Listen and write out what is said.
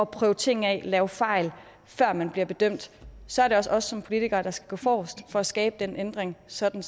prøve ting af lave fejl før man bliver bedømt så er det også os som politikere der skal gå forrest for at skabe den ændring sådan